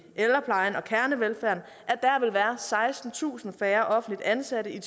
ældreplejen og kernevelfærden at sekstentusind færre offentligt ansatte i